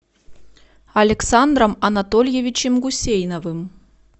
александром анатольевичем гусейновым